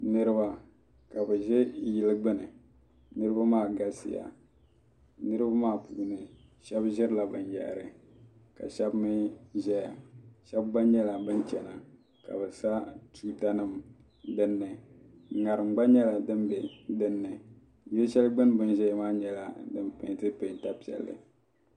Niriba ka bɛ ʒe yili gbuni niriba maa galisiya niriba maa puuni shɛba ʒirila binyɛhiri ka shɛba mi ʒeya shɛba gba nyɛla ban chana ka bɛ sa tuutanima dini ŋarim gba nyɛla din be dini yili shɛli gbuni bɛ ni ʒeya maa nyɛla din peenti peenta piɛlli.